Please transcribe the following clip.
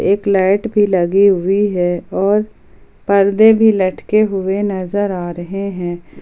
एक लाइट भी लगी हुई है और पर्दे भी लटके हुए नजर आ रहे हैं।